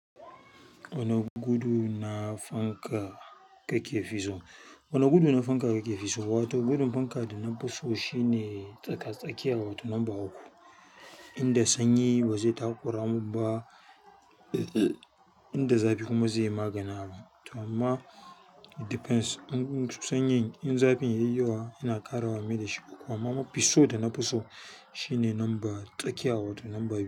Wani gudu na fanka kake fi so? Wani gudu na fanka kake fi so? Wato gudun fanka da na fiso shine tsaka-tsakiya, wato number uku. Inda sanyi ba zai takura mu ba inda zafi kuma zayyi maganin abun to amma it depends, mun-- mun ci sanyin, in zafin ya yi yawa, yana ƙara wa mai da shi ƙuka. Amma mafiso dana fiso shine number tsakiya, wato number biyu.